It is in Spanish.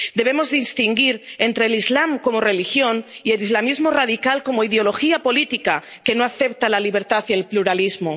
Debemos distinguir entre el islam como religión y el islamismo radical como ideología política que no acepta la libertad y el pluralismo.